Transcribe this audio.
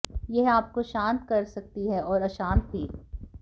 यह आपको शांत कर सकती है और अशांत भी